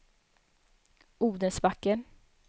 Odensbacken